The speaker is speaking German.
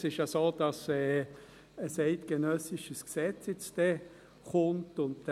Es ist ja so, dass demnächst ein eidgenössisches Gesetz kommen wird.